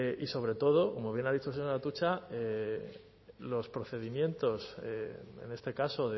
y sobre todo como bien ha dicho el señor atutxa los procedimientos en este caso